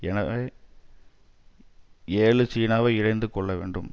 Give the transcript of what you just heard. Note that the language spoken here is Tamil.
எனவே ஏழு சீனாவை இணைத்து கொள்ள வேண்டும்